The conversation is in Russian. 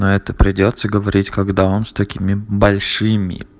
на это придётся говорить когда он с такими большими